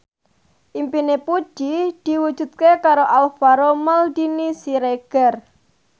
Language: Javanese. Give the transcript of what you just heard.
impine Puji diwujudke karo Alvaro Maldini Siregar